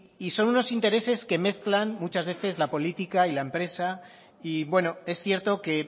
y son unos intereses que mezclan muchas veces la política y la empresa y bueno es cierto que